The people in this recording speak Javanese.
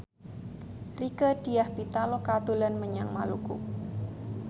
Rieke Diah Pitaloka dolan menyang Maluku